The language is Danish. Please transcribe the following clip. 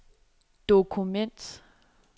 dokument